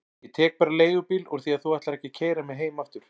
Ég tek bara leigubíl úr því að þú ætlar ekki að keyra mig heim aftur.